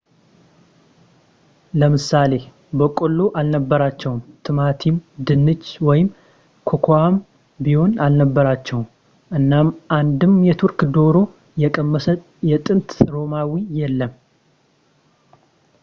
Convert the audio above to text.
ለምሳሌ በቆሎ አልነበራቸውም ቲማቲም ድንች ወይም ኮኮዋም ቢሆን አልነበራቸውም እናም አንድም የቱርክ ዶሮ የቀመሰ የጥንት ሮማዊ የለም